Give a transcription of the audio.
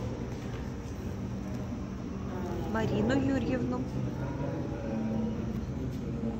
марину юрьевну